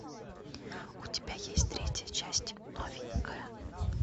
у тебя есть третья часть новенькая